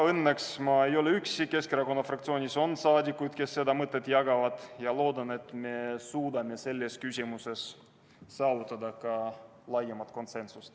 Õnneks ma ei ole üksi, Keskerakonna fraktsioonis on saadikuid, kes seda mõtet jagavad, ja ma loodan, et me suudame selles küsimuses saavutada ka laiema konsensuse.